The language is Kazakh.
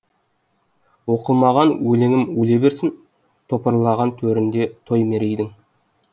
оқылмаған өлеңім өле берсін топырлаған төрінде той мерейдің